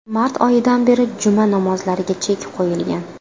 Mart oyidan beri juma namozlariga chek qo‘yilgan .